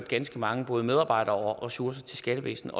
ganske mange medarbejdere og ressourcer til skattevæsnet